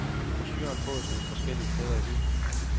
Brochuren fås forskellige steder i byen.